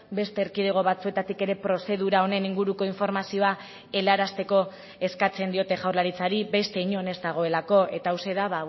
beste erkidego batzuetatik ere prozedura honen inguruko informazioa helarazteko eskatzen diote jaurlaritzari beste inon ez dagoelako eta hauxe da